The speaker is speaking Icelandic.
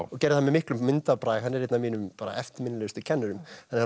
og gerði það með miklum myndarbrag hann er einn af mínum eftirminnilegustu kennurum